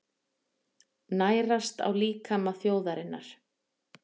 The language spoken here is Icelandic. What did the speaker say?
Nærast á líkama þjóðarinnar.